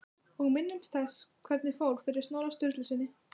Og minnumst þess hvernig fór fyrir Snorra Sturlusyni!